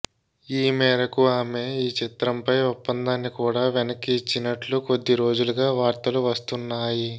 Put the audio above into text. ఈ మేరకు ఆమె ఈ చిత్రంపై ఒప్పందాన్ని కూడా వెనక్కి ఇచ్చినట్లు కొద్ది రోజులుగా వార్తలు వస్తున్నాయి